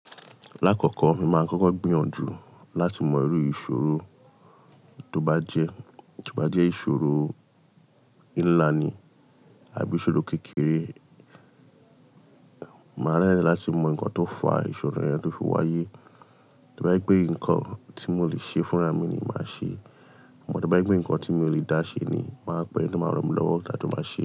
Lákọ̀ọ̀kọ́, mo máa ń kọ́kọ́ gbìyànjú láti mọ irú ìṣòro tó bá jẹ́, tó bá jẹ ìṣòro ńlá ni àbí ìṣòro kékeré, màá rẹ́rẹ́ láti mọ nǹkan tó fa ìṣòro yẹn tó fi wáyé. Tó bá pé nǹkan tí mò lè ṣe fúnra mi ni màá ṣe. To bá jé pé nǹkan tí mò lè dá ṣe ni màá pe ẹni tó máa rán mi lọ́wọ́ ka jó máa ṣe.